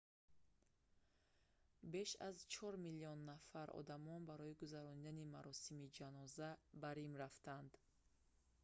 беш аз чор миллион нафар одамон барои гузарондани маросими ҷаноза ба рим рафтанд